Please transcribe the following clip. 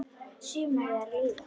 Sumarið er að líða.